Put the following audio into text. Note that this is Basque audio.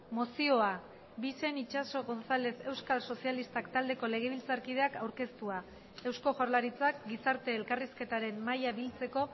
mozioa bixen itxaso gonzález euskal sozialistak taldeko legebiltzarkideak aurkeztua eusko jaurlaritzak gizarte elkarrizketaren mahaia biltzeko